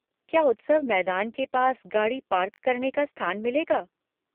क्या उत्सव मैदान के पास गाड़ी पार्क करने का स्थान मिलेगा?